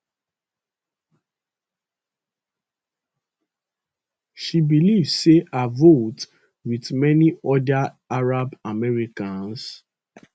she believe say her vote wit many oda arab americans